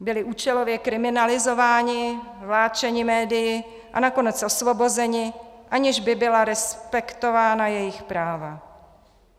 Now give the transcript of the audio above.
Byli účelově kriminalizováni, vláčeni médii a nakonec osvobozeni, aniž by byla respektována jejich práva.